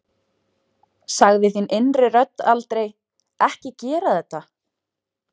Sagði þín innri rödd aldrei Ekki gera þetta?